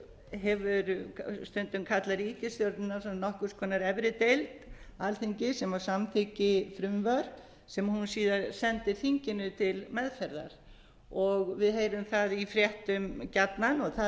hefur stundumkallað ríkisstjórnina svona nokkurs konar efri deild alþingi sem samþykki frumvörp sem hún síðar sendi þinginu til meðferðar við heyrum það í fréttum gjarnan og